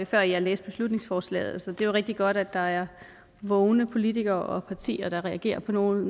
før jeg læste beslutningsforslaget så det er rigtig godt at der er vågne politikere og partier der reagerer på noget